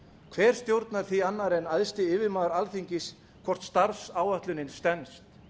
hver stjórnar því annar en æðsti yfirmaður alþingis hvort starfsáætlunin stenst